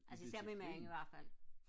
altså især min mand ihvertfald